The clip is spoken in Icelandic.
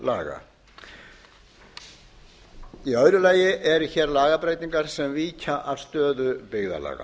byggðarlaga í öðru lagi eru lagabreytingar sem víkja að stöðu byggðarlaga